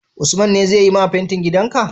Usman ne zai yi ma fentin gidan ka?